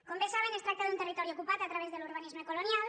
com bé saben es tracta d’un territori ocupat a través de l’urbanisme colonial